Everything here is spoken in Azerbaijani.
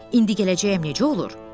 İndi gələcəyəm necə olur?